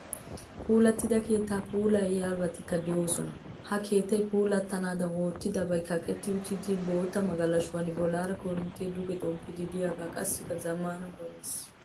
Puulattida keettaa puulayidabatikka doosona. Ha keettay puulattanaadan oottidabay kaqetti uttida bootta magalashuwanne bollaara koorinttee duge xomppiiddi diyagaa qassikka zammaana koroniisiyaa.